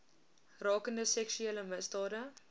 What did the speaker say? rakende seksuele misdade